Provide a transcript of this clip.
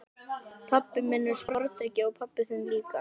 Pabbi minn er sporðdreki og pabbi þinn líka.